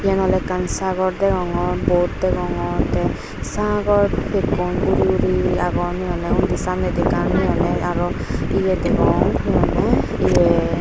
eyan ole ekkan sagor degongor boat degongor te sagor pekkun uri uri agon he honde indi samne indi ekkan ye aro ye degong he honde ye.